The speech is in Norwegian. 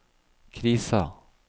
krisa